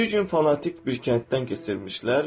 Bir gün fanatik bir kənddən keçirmişlər.